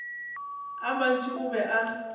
a mantši o be a